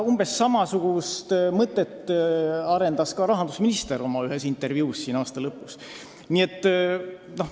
Umbes samasugust mõtet arendas ka rahandusminister ühes oma intervjuus aasta lõpus.